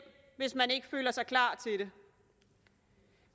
hvis man ikke føler sig klar til det